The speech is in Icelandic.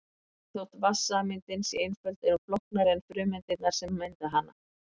Jafnvel þótt vatnssameindin sé einföld er hún flóknari en frumeindirnar sem mynda hana.